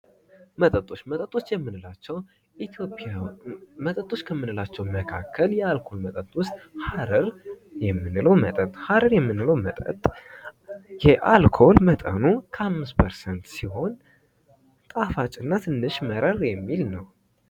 መጠጦች ፦ መጠጦች የምንላቸው መጠጦች ከምንላቸው መካከል የአልኮል መጠጥ ውስጥ ሀረር የምንለው መጠጥ ፦ ሀረር የምንለው መጠጥ የአልኮል መጠኑ ከአምስት ፐርሰንት ሲሆን ጣፋጭ እና ትንሽ መረር የሚል ነው ።